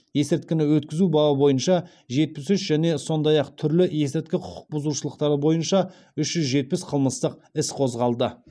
есірткіні өткізу бабы бойынша жетпіс үш және сондай ақ түрлі есірткі құқық бұзушылықтары бойынша үш жүз жетпіс қылмыстық іс қозғалды